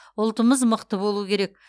ұлтымыз мықты болуы керек